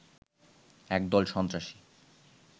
একদল সন্ত্রাসী